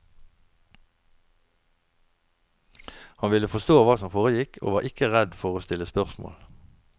Han ville forstå hva som foregikk og var ikke redd for å stille spørsmål.